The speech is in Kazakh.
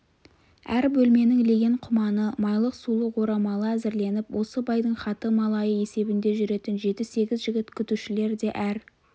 әр бөлменің леген-құманы майлық-сулық орамалы әзірленіп осы байдың хаты малайы есебінде жүретін жеті-сегіз жігіт күтушілер де әр